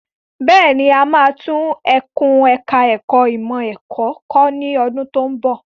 Bẹ́ẹ̀ni, a máa tún ẹkùn ẹ̀ka ẹ̀kó ìmọ̀ ẹ̀kọ́ kọ́ ní ọdún tí ń bọ̀.